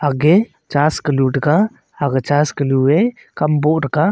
agey church kalu tega aga church kalue kamboh tega.